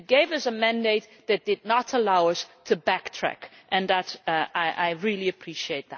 It gave us a mandate that did not allow us to backtrack, and that I really appreciate.